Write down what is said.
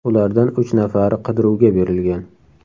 Ulardan uch nafari qidiruvga berilgan.